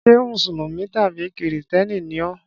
Ṣé Mùsùlùmí tàbí Kìrìtẹ́ẹ́nì ni ọ́?